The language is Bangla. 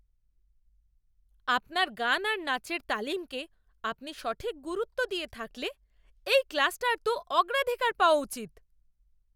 আপনার গান আর নাচের তালিমকে আপনি সঠিক গুরুত্ব দিয়ে থাকলে এই ক্লাসটার তো অগ্রাধিকার পাওয়া উচিত!